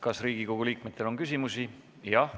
Kas Riigikogu liikmetel on küsimusi?